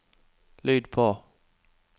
lyd på